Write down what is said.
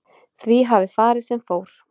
Því hafi farið sem fór